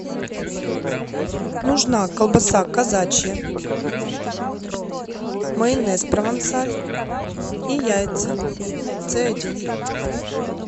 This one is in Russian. нужна колбаса казачья майонез провансаль и яйца с один